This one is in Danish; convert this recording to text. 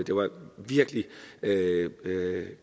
det var virkelig